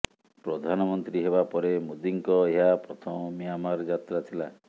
ପ୍ରଧାନମନ୍ତ୍ରୀ ହେବା ପରେ ମୋଦିଙ୍କ ଏହା ପ୍ରଥମ ମିଆଁମାର ଯାତ୍ରା ଥିଲା